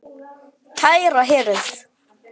Kæra hirð.